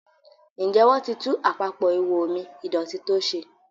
Njé wón tí tún Àpapọ̀ ihò omi ìdọ̀tító ṣe?